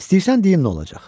İstəyirsən deyim nolar?